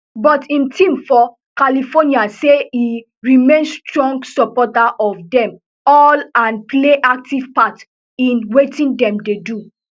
but im team for california say e remain strong supporter of dem all and play active part in wetin dem dey do